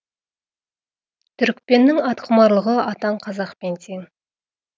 түрікпеннің атқұмарлығы атаң қазақпен тең